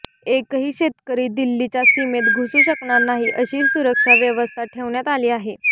एकही शेतकरी दिल्लीच्या सीमेत घुसू शकणार नाही अशी सुरक्षा व्यवस्था ठेवण्यात आली आहे